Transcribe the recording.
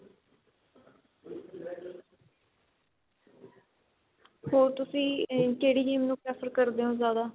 ਹੋਰ ਤੁਸੀਂ ਕਿਹੜੀ game ਨੂੰ prefer ਕਰਦੇ ਓ ਜਿਆਦਾ